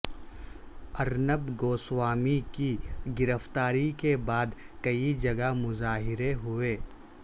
ارنب گوسوامی کی گرفتاری کے بعد کئی جگہ مظاہرے ہوئے